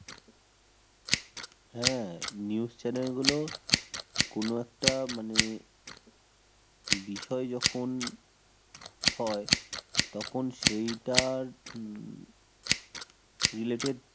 হ্যাঁ news channel গুলো কোন একটা মানে বিষয় যখন হয় তখন সেটার উম related